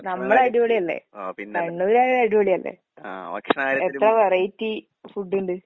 നമ്മളടിപൊളിയല്ലേ. കണ്ണൂര്കാരടിപൊളിയല്ലേ. എത്ര variety food ഇണ്ട്?